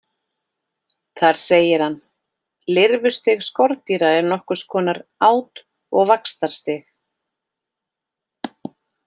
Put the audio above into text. Þar segir hann: Lirfustig skordýra er nokkurs konar át- og vaxtarstig.